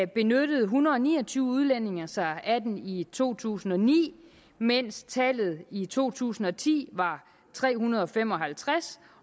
benyttede en hundrede og ni og tyve udlændinge sig af den i to tusind og ni mens tallet i to tusind og ti var tre hundrede og fem og halvtreds